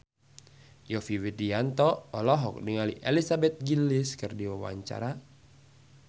Yovie Widianto olohok ningali Elizabeth Gillies keur diwawancara